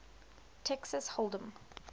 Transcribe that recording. texas hold em